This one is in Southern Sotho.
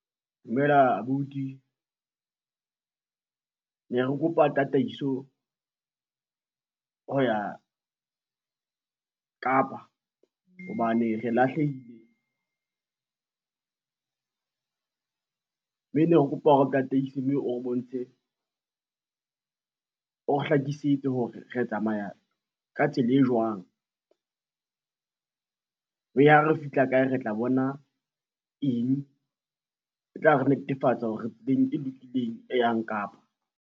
Dumela abuti, ne re kopa tataiso, ho ya Kapa hobane re lahlehile mme ne re kopa o re tataise mme o re bontshe o re hlakisetse hore re tsamaya ka tsela e jwang mme ha re fihla kae, re tla bona eng, e tla re netefatsa hore re tseleng e lokileng, e yang Kapa.